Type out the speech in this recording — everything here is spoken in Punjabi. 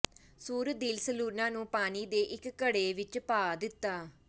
ਸੂਰ ਦਿਲ ਸਲੂਣਾ ਨੂੰ ਪਾਣੀ ਦੇ ਇੱਕ ਘੜੇ ਵਿੱਚ ਪਾ ਦਿੱਤਾ